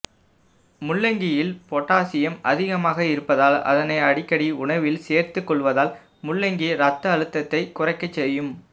முள்ளங்கியில் potassium அதிகமாக இருப்பதால் அதனை அடிக்கடி உணவில் சேர்த்துக் கொள்வதால் முள்ளங்கி இரத்த அழுத்தத்தைக் குறையச் செய்யும்